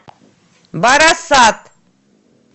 барасат